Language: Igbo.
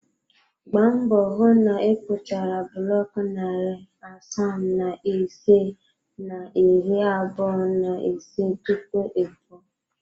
Gbaa mbọ hụ na ịkpụchara buloku narị asaa na ise na iri abụọ na ise tupu ị pụọ.